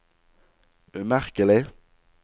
umerkelig